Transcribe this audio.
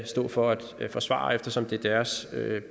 stå for at forsvare eftersom det er deres